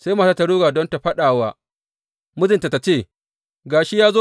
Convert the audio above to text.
Sai matar ta ruga don ta faɗa wa mijinta, ta ce, Ga shi ya zo!